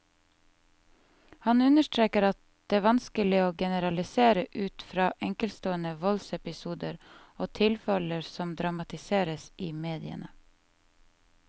Han understreker at det vanskelig å generalisere ut fra enkeltstående voldsepisoder og tilfeller som dramatiseres i mediene.